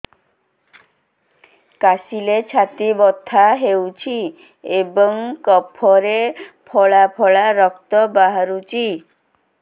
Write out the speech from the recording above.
କାଶିଲେ ଛାତି ବଥା ହେଉଛି ଏବଂ କଫରେ ପଳା ପଳା ରକ୍ତ ବାହାରୁଚି